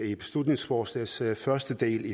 i beslutningsforslagets første del